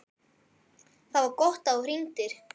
ÞAÐ VAR GOTT AÐ ÞÚ HRINGDIR.